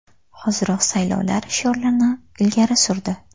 Hoziroq saylovlar” shiorlarini ilgari surdi.